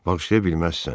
Bağışlaya bilməzsən.